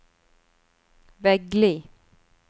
Veggli